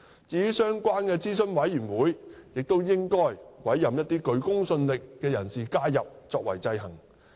至於相關的諮詢委員會，亦應委任一些具公信力的人士加入作為制衡。